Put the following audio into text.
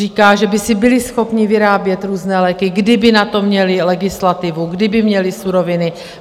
Říká, že by si byli schopni vyrábět různé léky, kdyby na to měli legislativu, kdyby měli suroviny.